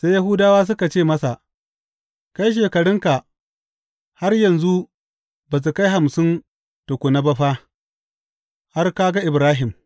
Sai Yahudawa suka ce masa, Kai, shekarunka har yanzu ba su kai hamsin tukuna ba fa, har ka ga Ibrahim!